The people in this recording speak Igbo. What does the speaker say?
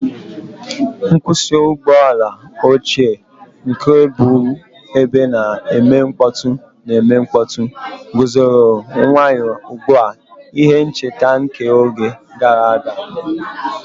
Nkwụsị ụgbọ ala ochie, nke bụbu ebe a na-eme mkpọtụ na-eme mkpọtụ, guzoro nwayọ ugbu a, ihe ncheta nke oge gara aga.